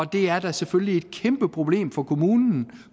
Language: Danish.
det er da selvfølgelig et kæmpeproblem for kommunen